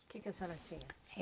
O que que a senhora tinha?